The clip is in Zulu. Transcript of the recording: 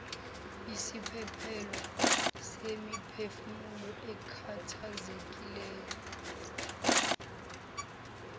yisiphephelo semiphefumulo ekhathazekileyo